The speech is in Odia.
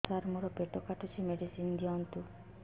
ସାର ମୋର ପେଟ କାଟୁଚି ମେଡିସିନ ଦିଆଉନ୍ତୁ